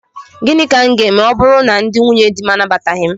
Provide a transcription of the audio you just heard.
Gịnị ka m ga-eme ma ọ bụrụ na ndị nwunyedi m anabataghị m?